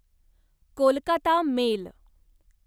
Kolkata mail